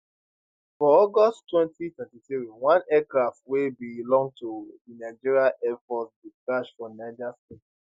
for august 2023 one aircraft wey belong to di nigerian air force bin crash for niger state